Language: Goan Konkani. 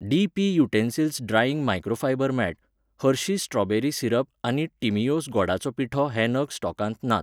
D P utensils drying microfiber mat, Hershey's strawberry सिरपआनी टिमिओस गोडाचो पिठो हे नग स्टॉकांत नात